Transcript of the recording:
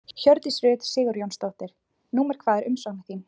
Hjördís Rut Sigurjónsdóttir: Númer hvað er umsóknin þín?